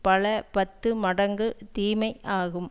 பல பத்து மடங்கு தீமை ஆகும்